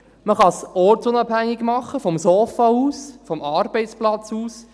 Man kann es ortsunabhängig tun, vom Sofa aus, vom Arbeitsplatz aus.